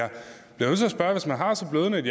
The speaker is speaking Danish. have et